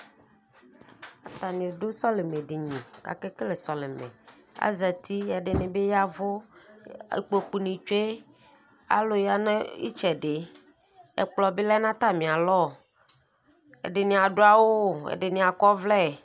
Atani dʋ sɔlimɛ dini kʋ akekele sɔlimɛ azati ɛdini bi ya ɛvʋ ikpokʋ ni tsʋe alʋ yanʋ itsɛdi ɛkplɔbi lɛnʋ atami alɔ ɛdini adʋ awʋ ɛdini akɔ ɔvlɛ